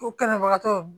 O kɛlɛbagatɔw